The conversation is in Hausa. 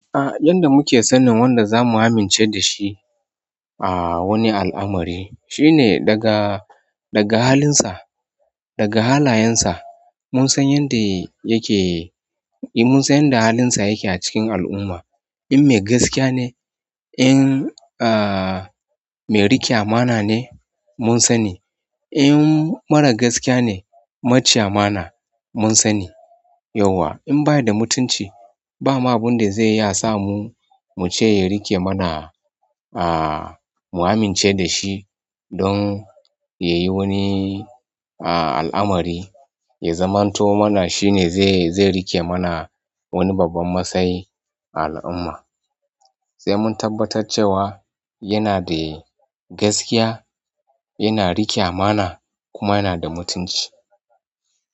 A yanda muke sanin wanda zamu amince da shi a wani al'amari shine daga, daga halinsa, daga halayensa. Mun san yanda yake, mun san yanda halinsa yake a cikin al'umma. In mai gaskiya ne, in, ah, mai riƙe amana ne mun sani. In mara gaskiya ne maci amana mun sani yauwa. In baya da mutunci ba ma abun da zai iya sa mu, muce ya riƙe mana, ah, mu amince da shi don ya yi wani, ah, al'amari, ya zamanto mana shine zai, zai riƙe mana wani babban matsayi a al'umma. Sai mun tabbatar cewa yana da gaskiya, yana riƙe amana kuma yana da mutunci.